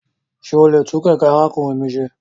Ṣe o le tun kẹkẹ arakunrin mi ṣe?